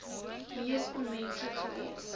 moes onmenslik gewees